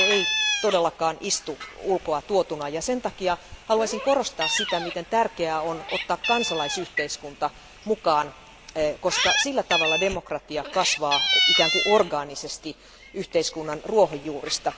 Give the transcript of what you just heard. Se ei todellakaan istu ulkoa tuotuna ja sen takia haluaisin korostaa sitä, miten tärkeää on ottaa kansalaisyhteiskunta mukaan, koska sillä tavalla demokratia kasvaa ikään kuin orgaanisesti yhteiskunnan ruohonjuurista.